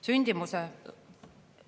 Sündimuse …